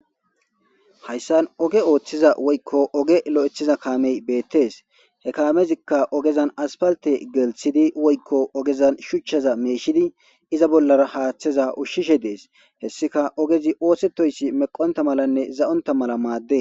Hayssan oge ooththiza woykko oge lo7ethiza kaamey beettees he kaamezikka ogezan aspalte gelthidi woykko ogezan shuchchaza meeshidi iza bollara haaththeza ushshishe dees hessika ogezi oosetoyssi meqonta malanne za7onta mala maadde